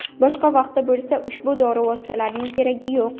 Boshqa vaqtda bo‘lsa, ushbu dori vositalarining keragi yo‘q.